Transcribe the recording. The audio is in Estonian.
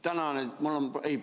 Tänan!